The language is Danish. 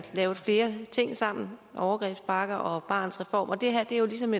lavet flere ting sammen overgrebspakke og barnets reform det her er jo ligesom